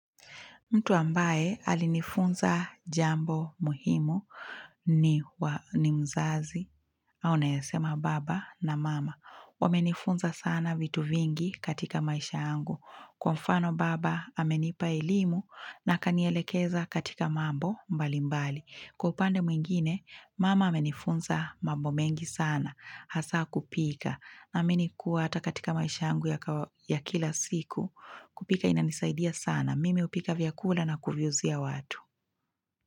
Mtu ambaye alinifunza jambo muhimu ni wa ni mzazi au naeza sema baba na mama. Wamenifunza sana vitu vingi katika maisha yangu. Kwa mfano baba amenipa elimu na akanielekeza katika mambo mbalimbali. Kwa upande mwingine, mama amenifunza mambo mengi sana hasa kupika. Naamini kuwa hata katika maisha yangu ya kawa ya kila siku kupika inanisaidia sana. Na mimi hupika vyakula na kuviuzia watu.